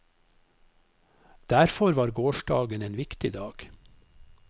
Derfor var gårsdagen en viktig dag.